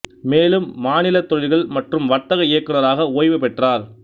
மேலும் மாநில தொழில்கள் மற்றும் வர்த்தக இயக்குநராக ஓய்வு பெற்றார்